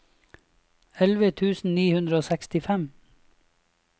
elleve tusen ni hundre og sekstifem